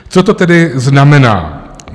Co to tedy znamená?